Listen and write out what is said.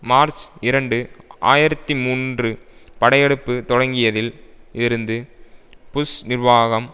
March இரண்டு ஆயிரத்தி மூன்று படையெடுப்பு தொடங்கியதில் இருந்து புஷ் நிர்வாகம்